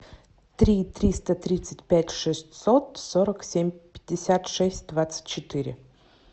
три триста тридцать пять шестьсот сорок семь пятьдесят шесть двадцать четыре